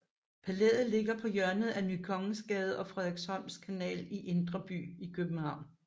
Palæet ligger på hjørnet af Ny Kongensgade og Frederiksholms Kanal i Indre By i København